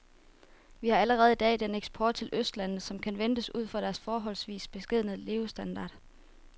Vi har allerede i dag den eksport til østlandene, som kan ventes ud fra deres forholdsvis beskedne levestandard.